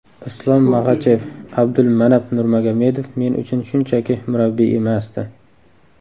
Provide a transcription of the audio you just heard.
Islom Maxachev: Abdulmanap Nurmagomedov men uchun shunchaki murabbiy emasdi.